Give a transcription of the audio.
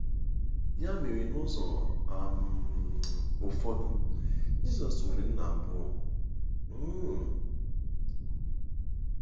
Ya mere, n’ụzọ um ụfọdụ, Jizọs nwere nna abụọ um!